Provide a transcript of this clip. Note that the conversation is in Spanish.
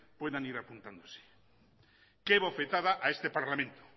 pueden ir apuntándose qué bofetada a este parlamento